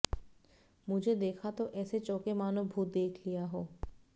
मुझे देखा तो ऐसे चौंके मानो भूत देख लिया हो